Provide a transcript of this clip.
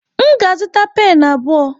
M ga-azụta pen abụọ.